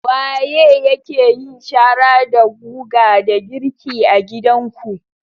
Waye yake yin shara da guga da girki a gidanku?